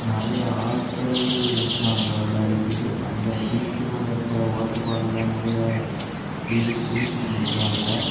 நெறைய ஆள்கள் நிக்கிறாங்க விளையாடிட்டு அந்த பீச்சுக்குள்ள இருக்கிற வாட்டர் பால்ல நறைய பேரு குளிச்சிட்டு நிக்றாங்க.